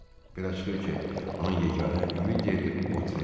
Belə çıxır ki, onun yeganə ümid yeri Votren.